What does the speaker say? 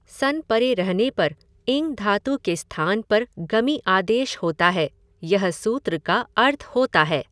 सन् परे रहने पर इङ् धातु के स्थान पर गमि आदेश होता है, यह सूत्र का अर्थ होता है।